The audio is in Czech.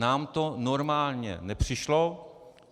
Nám to normální nepřišlo.